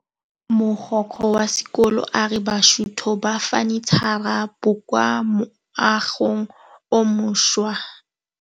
Mogokgo wa sekolo a re bosutô ba fanitšhara bo kwa moagong o mošwa.